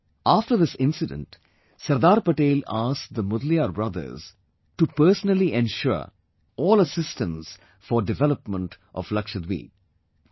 After this incident, Sardar Patel asked the Mudaliar brothers to personally ensure all assistance for development of Lakshadweep